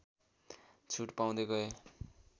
छुट पाउँदै गए